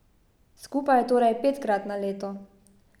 Skupaj torej petkrat na leto.